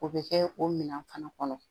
O bɛ kɛ o minɛn fana kɔnɔ